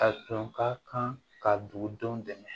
A tun ka kan ka dugudenw dɛmɛ